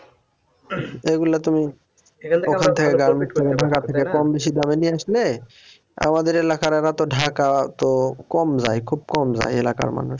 ঐগুলা তুমি কমবেশি দামে নিয়ে আসলে আমাদের এলাকার এরাতো ঢাকা তো কম যায় খুব কম যায় এলাকার মানুষ